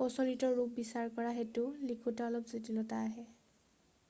প্ৰচলিত ৰূপ বিচাৰ কৰা হেতু লিখোঁতে অলপ জটিলতা আহে